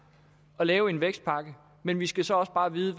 at lave en vækstpakke men vi skal så også bare vide